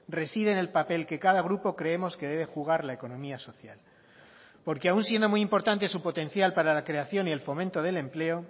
reside en el papel que cada grupo creemos que debe jugar la economía social porque aún siendo muy importante su potencial para la creación y el fomento del empleo